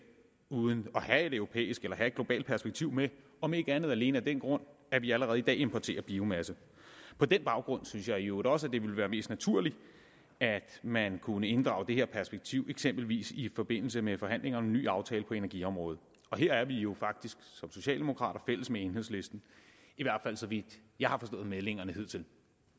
uden at have et europæisk eller have et globalt perspektiv med om ikke andet alene af den grund at vi allerede i dag importerer biomasse på den baggrund synes jeg jo i øvrigt også at det ville være mest naturligt at man kunne inddrage det her perspektiv eksempelvis i forbindelse med forhandlinger om en ny aftale på energiområdet her er vi jo faktisk som socialdemokrater fælles med enhedslisten i hvert fald så vidt jeg har forstået meldingerne hidtil